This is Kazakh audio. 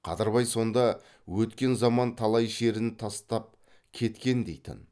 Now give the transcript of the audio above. қадырбай сонда өткен заман талай шерін тастап кеткен дейтін